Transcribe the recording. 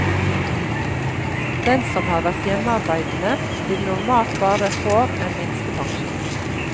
Den som har vært hjemmearbeidende, vil normalt bare får en minstepensjon.